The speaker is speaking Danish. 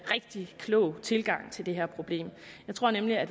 rigtig klog tilgang til det her problem jeg tror nemlig at